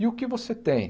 E o que você tem?